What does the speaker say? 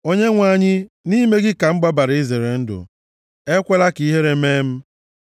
Onyenwe anyị, nʼime gị ka m gbabara izere ndụ; ekwela ka ihere mee m.